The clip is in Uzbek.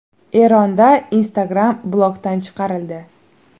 Eronda Instagram blokdan chiqarildi.